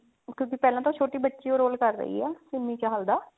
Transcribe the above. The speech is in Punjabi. ਕਿਉਂਕੀ ਪਹਿਲਾਂ ਤਾਂ ਛੋਟੀ ਬੱਚੀ ਹੀ roll ਕਰ ਰਹੀ ਹੈ ਸਿੰਮੀ ਚਹਿਲ ਦਾ